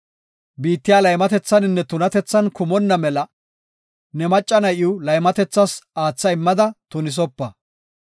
“Biittiya laymatethaninne tunatethan kumonna mela ne macca na7iw laymatethas aatha immada tunisopa.